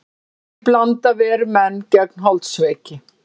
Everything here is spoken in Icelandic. Þessi blanda ver menn gegn holdsveiki.